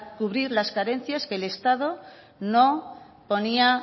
cubrir las carencias que el estado no ponía